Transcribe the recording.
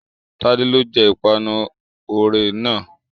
Tádé ló jẹ ìpanu Oreo náà.